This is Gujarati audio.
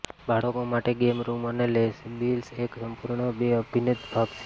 બાળકો માટે ગેમ રૂમ અને લેબિલ્સ એક સંપૂર્ણ બે અભિન્ન ભાગ છે